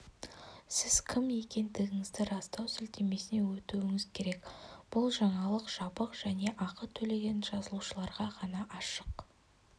сіз кім екендігіңізді растау сілтемесіне өтуіңіз керек бұл жаңалық жабық және ақы төлеген жазылушыларға ғана ашық